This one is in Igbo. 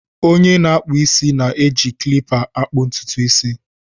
Onye na-akpụ isi na-eji klipa akpụ ntutu isi.